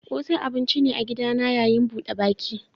Ƙosai abun ci ne na a gidan yayin buɗe baki.